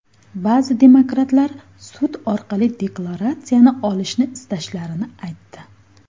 Ba’zi demokratlar, sud orqali deklaratsiyani olishni istashlarini aytdi.